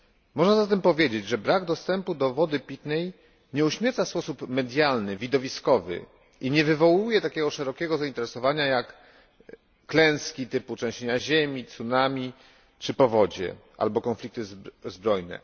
Można zatem powiedzieć, że brak dostępu do wody pitnej nie uśmierca w sposób medialny, widowiskowy i nie wywołuje takiego szerokiego zainteresowania jak klęski typu trzęsienia ziemi, tsunami czy powodzie albo konflikty zbrojne.